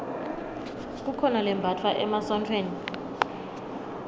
kukhona lembatfwa emasontfweni